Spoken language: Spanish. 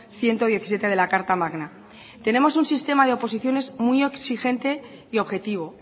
ciento diecisiete de la carta magna tenemos un sistema de oposiciones muy exigente y objetivo